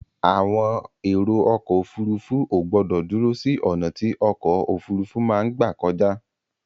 Àwọn èrò ọkọ̀ òfurufú ò gbọ̀dọ dúró sí ọ̀nà tí ọkọ̀ òfurufú máa gbà kọjá.